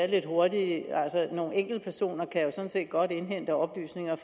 lidt hurtigt altså nogle enkeltpersoner kan jo sådan set godt indhente oplysninger